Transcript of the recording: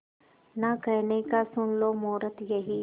ना कहने का सुन लो मुहूर्त यही